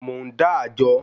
Mò ń dá àjọ